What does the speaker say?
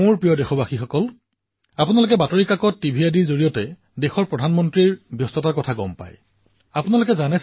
মোৰ মৰমৰ দেশবাসীসকল আপোনালোকে বাতৰিকাকতত টিভিৰ জৰিয়তে দেশৰ প্ৰধানমন্ত্ৰীৰ ব্যস্ত কাৰ্যসূচীৰ বিষয়ে জানিবলৈ পায় আৰু ব্যস্ততাৰ চৰ্চাও কৰে